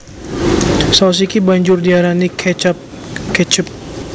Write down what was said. Saus iki banjur diarani catchup ketchup